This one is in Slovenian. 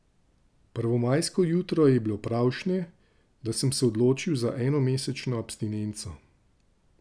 Prvomajsko jutro je bilo pravšnje, da sem se odločil za enomesečno abstinenco.